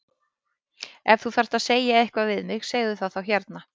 Ef þú þarft að segja eitthvað við mig segðu það þá hérna!